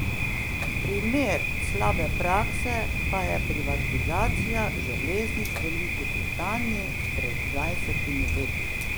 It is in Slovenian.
Primer slabe prakse pa je privatizacija železnic v Veliki Britaniji pred dvajsetimi leti.